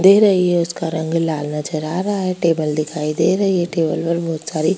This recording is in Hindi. दे रही है उसका रंग लाल नजर आ रहा है टेबल दिखाई दे रहा है टेबल पर बहुत सारी --